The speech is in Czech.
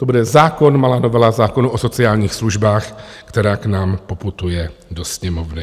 To bude zákon, malá novela zákonu o sociálních službách, která k nám poputuje do Sněmovny.